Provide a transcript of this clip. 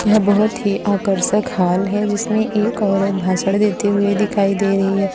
यह बहोत ही आकर्षक हॉल है जिसमें एक औरत भाषण देते हुए दिखाई दे रही है।